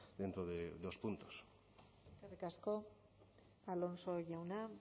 dentro de dos puntos eskerrik asko alonso jauna